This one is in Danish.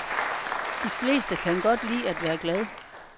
De fleste kan godt lide at være glad.